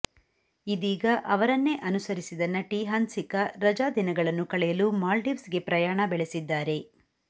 ಇದೀಗ ಅವರನ್ನೇ ಅನುಸರಿಸಿದ ನಟಿ ಹನ್ಸಿಕಾ ರಜಾ ದಿನಗಳನ್ನು ಕಳೆಯಲು ಮಾಲ್ಡೀವ್ಸ್ ಗೆ ಪ್ರಯಾಣ ಬೆಳೆಸಿದ್ದಾರೆ